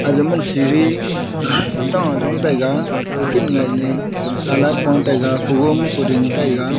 aya mana siri zong taiga kukhin colour pa taiga taiga.